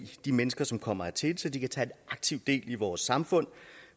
de mennesker som kommer hertil så de kan tage aktiv del i vores samfund